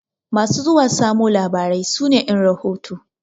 Masu zuwa zamo labarai su ne ƴan rahoto.